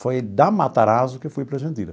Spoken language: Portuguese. Foi da Matarazzo que eu fui para a Jandira.